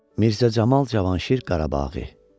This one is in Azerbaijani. Mirzə Camal Cavanşir Qarabaği.